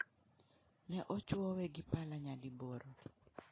Neochwowe gi pala nyadiboro.